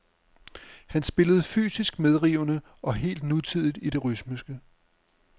Han spillede fysisk medrivende og helt nutidigt i det rytmiske.